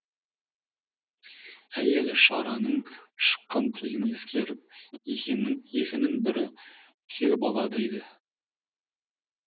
әйелі шараның шыққан тегін ескеріп екінің бірі күйеу бала дейді